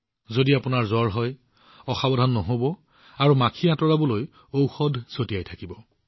যদি আপোনালোকৰ জ্বৰ হয় তেনেহলে অৱহেলা নকৰিব আৰু লগতে বালি মাখি নিধন কৰা ঔষধ ছটিয়াই থাকিব